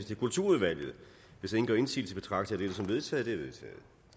til kulturudvalget hvis ingen gør indsigelse betragter jeg dette som vedtaget